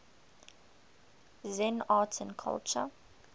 zen art and culture